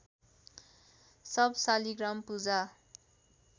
सब Shaligram पूजा